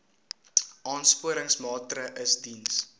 aansporingsmaatre ls diens